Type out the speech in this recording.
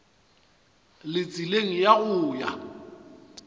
le tseleng ya go ya